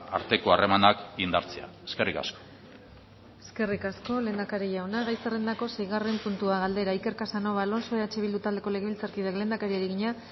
arteko harremanak indartzea eskerrik asko eskerrik asko lehendakari jauna gai zerrendako seigarren puntua galdera iker casanova alonso eh bildu taldeko legebiltzarkideak lehendakariari egina